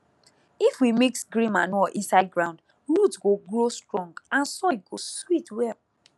if we mix green manure inside ground root go grow strong and soil go sweet well